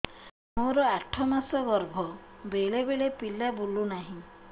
ମୋର ଏବେ ଆଠ ମାସ ଗର୍ଭ ବେଳେ ବେଳେ ପିଲା ବୁଲୁ ନାହିଁ